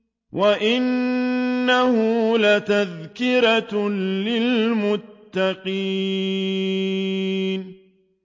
وَإِنَّهُ لَتَذْكِرَةٌ لِّلْمُتَّقِينَ